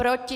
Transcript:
Proti?